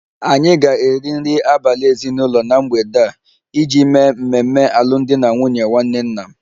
Anyị ga-eri nri abalị ezinụlọ na mgbede a iji mee mmemme alụmdi na nwunye nwanne nna m